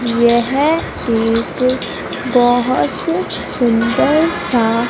यह एक बहोत सुंदर सा--